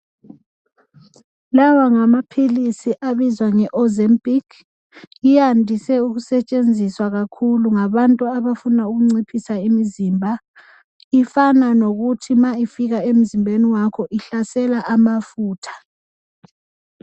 Lawa ngamaphilisi abizwa ngeOzempic ayandise ukusetshenziswa kakhulu ngabantu abafuna ukunciphisa imizimba. Ifana lokuthi nxa ifika emzimbeni wakho ihlasela amafutha.